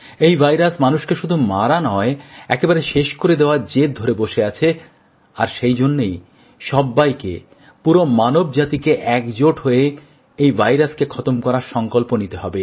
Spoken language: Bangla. এই ভাইরাস মানুষকে শুধু মারা নয় একেবারে শেষ করে দেবার জেদ ধরে বসে আছে আর সেই জন্যেই সব্বাইকে পুরো মানবজাতিকে একজোট হয়ে এই ভাইরাসকে খতম করার সংকল্প নিতে হবে